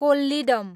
Kollidam